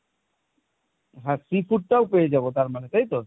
হ্যাঁ চিঁকুরটাও পেয়ে যাবো তার মানে তাই তো?